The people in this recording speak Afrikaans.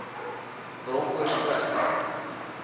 bronkoorspruit